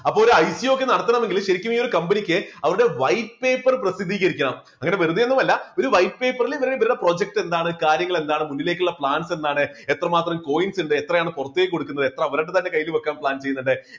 അപ്പോ ഒരു IGO ഒക്കെ നടത്തണമെങ്കിൽ ശരിക്കും ഒരു company ക്ക് അവരുടെ white paper പ്രസിദ്ധീകരിക്കണം. അങ്ങനെ വെറുതെ ഒന്നുമല്ല ഒരു white paper ൽ ഇവർ ഇവരുടെ project എന്താണ് കാര്യങ്ങൾ എന്താണ് മുന്നിലേക്കുള്ള plans എന്താണ് എത്രമാത്രം coins ഉണ്ട് എത്രയാണ് പുറത്തേക്ക് കൊടുക്കുന്നത് എത്ര അവരുടെ തന്നെ കയ്യിൽ വെക്കാൻ plan ചെയ്യുന്നുണ്ട്.